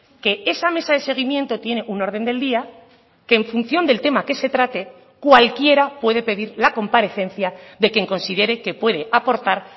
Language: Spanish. que esa mesa de seguimiento tiene un orden del día que en función del tema que se trate cualquiera puede pedir la comparecencia de quien considere que puede aportar